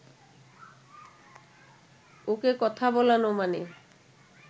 ওকে কথা বলানো মানে